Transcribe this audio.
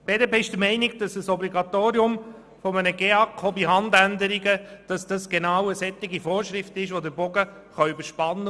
Bei der Forderung nach einem Obligatorium des GEAK auch bei Handänderungen handelt es sich genau um eine Vorschrift, die den Bogen überspannen kann.